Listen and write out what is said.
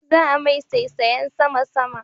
Za'a mai saisayen sama-sama